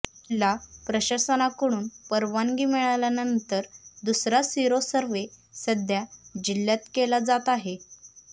जिल्हा प्रशासनाकडून परवानगी मिळाल्यानंतर दुसरा सिरो सर्व्हे सध्या जिल्ह्यात केला जात आहे